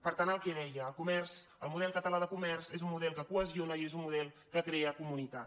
per tant el que deia el model català de comerç és un model que cohesiona i és un model que crea comunitat